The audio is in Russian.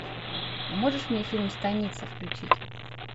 а можешь мне фильм станица включить